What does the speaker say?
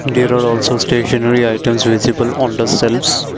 there are also stationery items visible on the shelves.